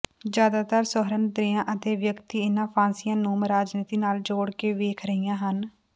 ਜ਼ਿਆਦਾਤਰ ਸੁਹਿਰਦ ਦ੍ਰਿਾਂ ਅਤੇ ਵਿਅਕਤੀ ਇਨਾਂ ਫਾਂਸੀਆਂ ਨੂਮ ਰਾਜਨੀਤੀ ਨਾਲ ਜੋੜ ਕੇ ਵੇਖ ਰਹੀਆਂ ਹਨ